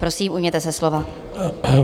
Prosím, ujměte se slova.